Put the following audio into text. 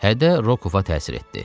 Hədə Rokova təsir etdi.